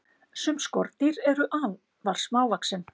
sum skordýr eru afar smávaxin